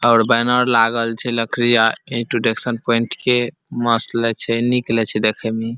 और बैनर लागल छै लकड़ी आर एजुकेशन पॉइंट के मस्त लगे छै निक लगे छै देखे में इ।